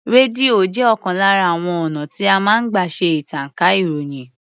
Rédíò jẹ́ ọ̀kan lára àwon ọ̀nà tí a máa ń gbà ṣe ìtànká ìròyìn.